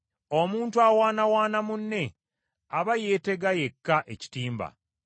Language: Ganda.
Omuntu awaanawaana munne, aba yeetega yekka ekitimba.